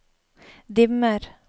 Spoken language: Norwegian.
dimmer